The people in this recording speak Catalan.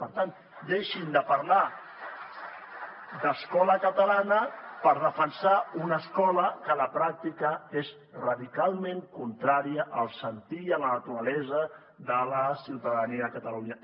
per tant deixin de parlar d’escola catalana per defensar una escola que a la pràctica és radicalment contrària al sentir i a la naturalesa de la ciutadania de catalunya